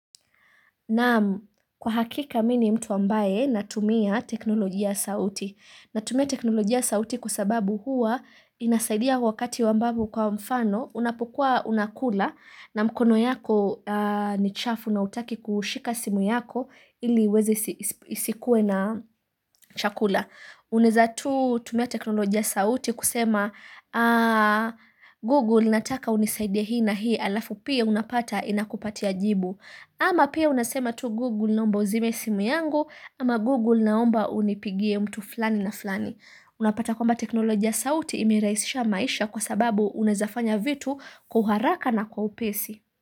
Naam, kwa hakika mi ni mtu ambaye natumia teknolojia ya sauti. Natumia teknolojia sauti kwa sababu huwa inasaidia wakati ambapo kwa mfano unapokua unakula na mkono yako ni chafu na hutaki kushika simu yako ili iweze isikuwe na chakula. Unaeza tu tumia teknolojia sauti kusema Google nataka unisaidie hii na hii alafu pia unapata inakupatia jibu. Ama pia unasema tu Google naomba uzime simu yangu ama Google naomba unipigie mtu flani na flani. Unapata kwamba teknolojia sauti imeraisisha maisha kwa sababu unaeza fanya vitu kwa haraka na kwa upesi.